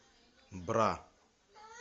бра